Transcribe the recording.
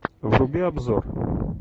вруби обзор